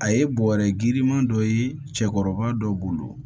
A ye bɔrɛ giriman dɔ ye cɛkɔrɔba dɔ bolo